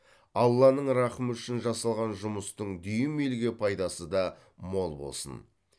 алланың рақымы үшін жасалған жұмыстың дүйім елге пайдасы да мол болсын